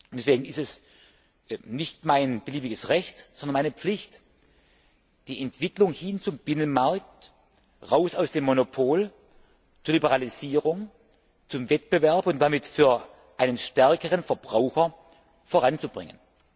Deswegen ist es nicht mein beliebiges Recht, sondern meine Pflicht, die Entwicklung hin zum Binnenmarkt, heraus aus dem Monopol, zur Liberalisierung, zum Wettbewerb und damit für einen stärkeren Verbraucher voranzubringen.